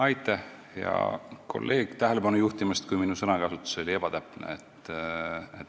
Aitäh, hea kolleeg, tähelepanu juhtimast, kui minu sõnakasutus oli ebatäpne!